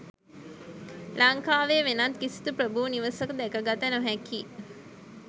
ලංකාවේ වෙනත් කිසිදු ප්‍රභූ නිවසක දැක ගත නොහැකි